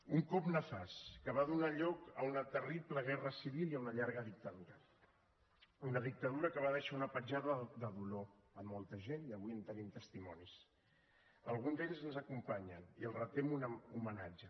un cop nefast que va donar lloc a una terrible guerra civil i a una llarga dictadura una dictadura que va deixar una petjada de dolor a molta gent i avui en tenim testimonis alguns d’ells ens acompanyen i els retem homenatge